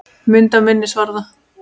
Mynd af minnisvarða.